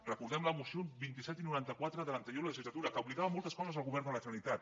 recordem la moció vint set i noranta quatre de l’anterior legislatura que obligava a moltes coses al govern de la generalitat